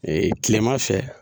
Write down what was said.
kilema fɛ.